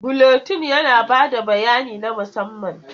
Buletin yana ba da bayani na musamman.